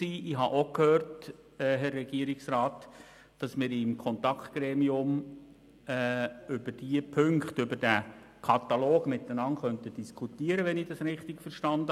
Ich habe auch verstanden, Herr Regierungsrat, dass wir im Kontaktgremium miteinander über den Katalog diskutieren können.